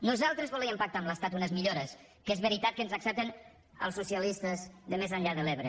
nosaltres volíem pactar amb l’estat unes millores que és veritat que ens accepten els socialistes de més enllà de l’ebre